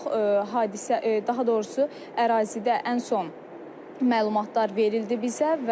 Hadisə, daha doğrusu ərazidə ən son məlumatlar verildi bizə.